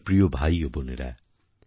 আমার প্রিয় ভাই ও বোনেরা